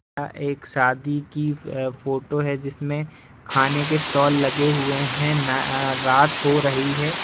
अ एक शादी की फोटो हैजिसमें खाने के स्टाल लगे हुुए हैं। न-आ रात हो रही है।